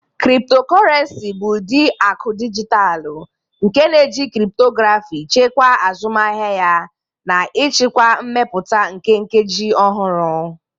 Cryptocurrency bụ ụdị akụ dijitalụ nke na-eji cryptography chekwaa azụmahịa ya na ịchịkwa mmepụta nke nkeji ọhụrụ.